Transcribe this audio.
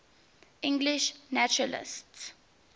english naturalists